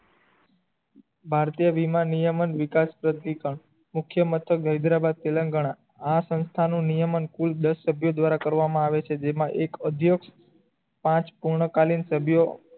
ભારતીય વીમા નિયમ જ વિકાસ મુખ્ય હેદેરાબાદ તેલંગાના આ સંસ્થાનો નિયમ કુલ દસ સભ્ય સાથે કરવામાં આવે છે જેમાં એક અધ્ય પાંચ પૂર્ણકાલીન સભ્યો